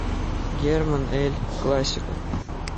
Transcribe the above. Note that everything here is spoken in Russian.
герман эль классико